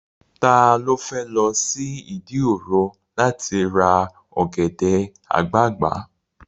Ta ló fẹ́ lọ sí Ìdí òro láti ra ọ̀gẹ̀dẹ̀ àgbagbà?